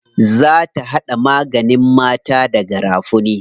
Za ta haɗa maganin mata da garafuni.